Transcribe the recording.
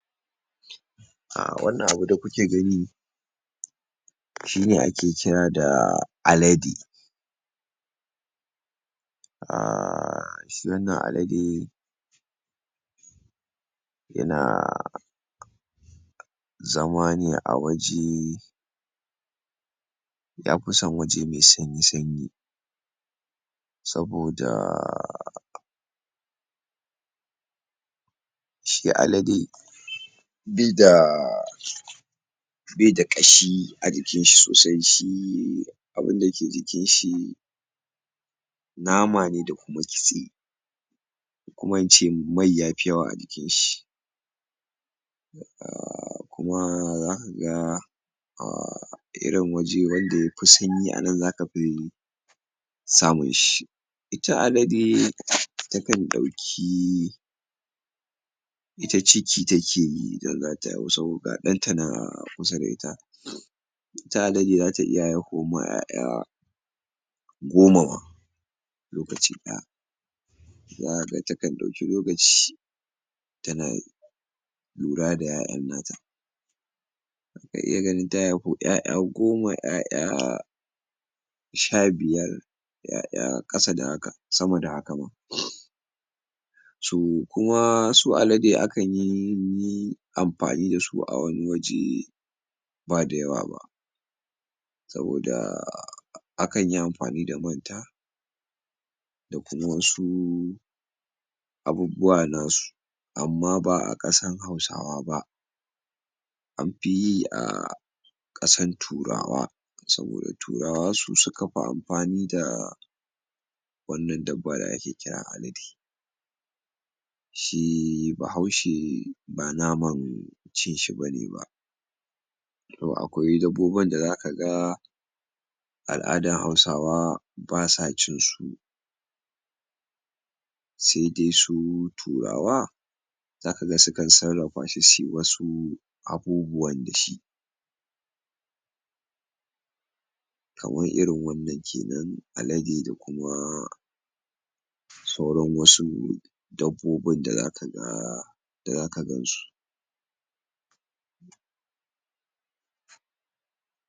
Ah Wannan abu da kuke gani shine ake kira da Alade Ah shi wannan Alade yana zama ne a waje yafi son waje mai sanyi sanyi saboda shi Alade bai da bai da kashi a jikin shi sosai shi abunda yake jikin shi nama ne da kuma kitse kuma in ce mai yafi yawa a jikin shi um kuma zaka ga um irin waje wanda yafi sanyi anan zaka fi samun shi ita Alade takan ɗauki ita ciki take yi idan zata haihu saboda ga ɗanta nan a kusa da ita ita Alade zata iya haihuwar ma 'ya'ya goma ma lokaci ɗaya zaka ga tankan ɗauki lokaci tana lura da 'ya'yan na ta zaka iya ganin ta haifo 'ya'ya goma 'ya'ya sha biyar 'ya'ya ƙasa da haka, sama da haka ma co kuma, su Alade kanyi amfani dasu a wani waje bada yawa ba saboda, akan yi amfani da man ta da kuma wasu abubuwa nasu amma ba a ƙasar Hausawa ba an fi yi a ƙasar Turawa saboda Turawa su suka fi amfani da wannan daba da ake kira Alade shi bahaushe ba naman cin shi bane ba to akwai dabbobin da zaka ga Al'adar Hausawa basa cin su sai dai su Turawa zaka ga sukan sarafashi suyi wasu Abubuwan dashi kamar irin wannan kenan Alade da kuma sauran wasu dabbobin da zaka ga da zaka gan su.